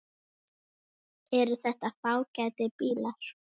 Eru þetta fágætir bílar?